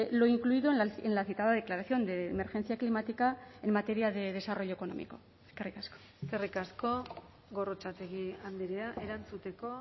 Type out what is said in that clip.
lo incluido en la citada declaración de emergencia climática en materia de desarrollo económico eskerrik asko eskerrik asko gorrotxategi andrea erantzuteko